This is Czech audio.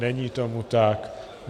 Není tomu tak.